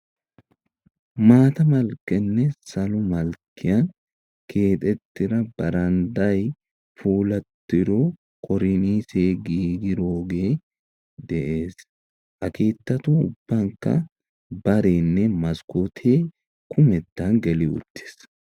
Maata malkkenne salo malkkiyan keexettiraa baraadday puulattiro koriniise giigiroge de'ees. Ha keettatu ubbankka barenne maskkoote kumettan geli uttiis.